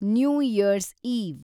new year's eve